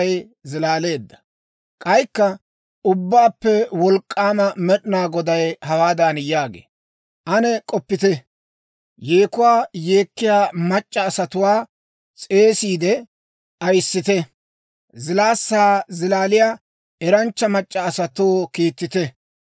K'aykka Ubbaappe Wolk'k'aama Med'inaa Goday hawaadan yaagee; «Ane k'oppite. Yeekuwaa yeekkiyaa mac'c'a asatuwaa s'eesiide ayyissite; zilaassaa zilaaliyaa eranchcha mac'c'a asatoo kiittite.